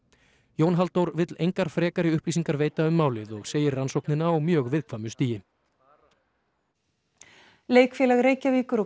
Jón Halldór vill engar frekari upplýsingar veita um málið og segir rannsóknina á mjög viðkvæmu stigi aðför Leikfélags Reykjavíkur og